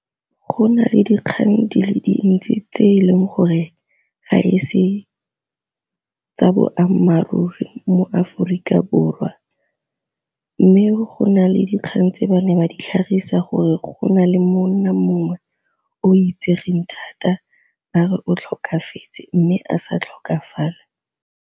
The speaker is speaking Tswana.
Go nale dikgang di le dintsi tse e leng gore ga e se tsa boammaaruri mo Aforika Borwa, mme go na le dikgang tse ba ne ba di tlhagisa gore go na le monna mongwe o itsegeng thata ba re o tlhokafetse mme a sa tlhokafala.